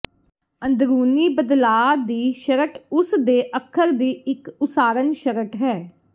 ਅੰਦਰੂਨੀ ਬਦਲਾਅ ਦੀ ਸ਼ਰਟ ਉਸ ਦੇ ਅੱਖਰ ਦੀ ਇੱਕ ਉਸਾਰਨ ਸ਼ਰਟ ਹੈ